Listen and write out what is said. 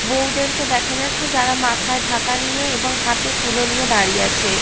বৌদেরকে দেখা যাচ্ছে যারা মাথায় ঢাকা নিয়ে এবং হাতে কুলো নিয়ে দাঁড়িয়ে আছে।